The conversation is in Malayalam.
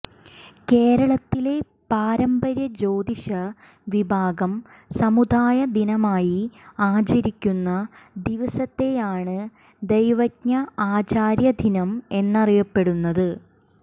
കേരളത്തിലെ പാരമ്പര്യ ജ്യോതിഷ വിഭാഗം സമുദായ ദിനമായി ആചരിക്കുന്ന ദിവസത്തെയാണ് ദൈവജ്ഞ ആചാര്യ ദിനം എന്നറിയപ്പെടുന്നത്